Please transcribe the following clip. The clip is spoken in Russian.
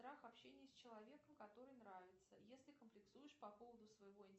страх общения с человеком который нравится если комплексуешь по поводу своего